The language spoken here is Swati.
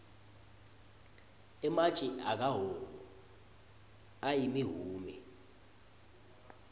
ematje akahhohho ayimihume